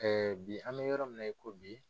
bi an bɛ yɔrɔ min na i ko bi